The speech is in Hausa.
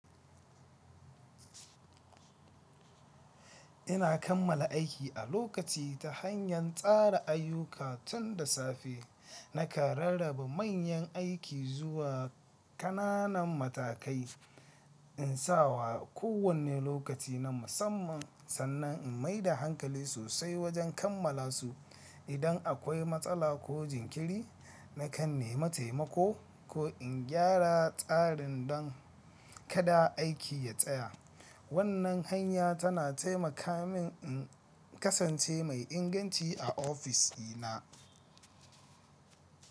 Ina kammala aiki a lokaci ta hanyan tsara ayyuka tun da safe. Nakan rarraba manyan aiki zuwa ƙananan matakai in sawa kowane lokaci na musamman sannan in maida hankali sosai wajen kammala su. Idan akwai matsala ko jinkiri, nakan nema taimako ko in gyara tsarin don kada aiki ya tsaya. Wannan hanya tana taimaka min in kasance mai inganci a office dina.